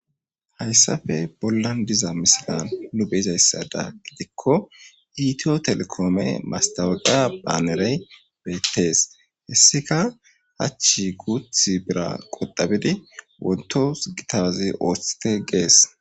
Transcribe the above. hayssafe bollan diza misilan nu beyizayssada gidikko iitiyo telekoome mastaweqa baanerey beettes hessika hachchi guuth bira qodabidi wontos gitazi ooththite gees